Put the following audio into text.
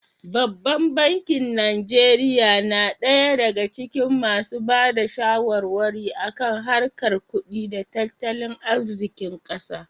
Babban bankin Najeriya na ɗaya daga cikin masu ba da shawarwari a kan harkar kudi da tattalin arzikin ƙasa.